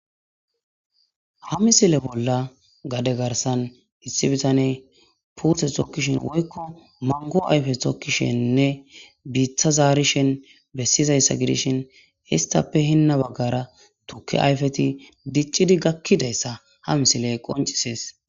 Ha misile bolla gade garsan issi bitane puuthe tokkishin woykko mango ayfe tokkisheninne biitha zaarishen bessizayssa gidishin histappe hinna baggara tuke ayfeti diccidi gakkidayssa ha misiley qoncisees